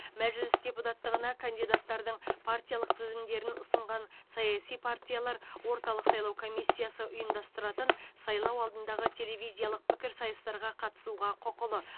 мәжіліс депутаттығына кандидаттардың партиялық тізімдерін ұсынған саяси партиялар орталық сайлау комиссиясы ұйымдастыратын сайлау алдындағы телевизиялық пікірсайыстарға қатысуға құқылы